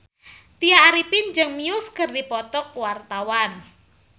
Tya Arifin jeung Muse keur dipoto ku wartawan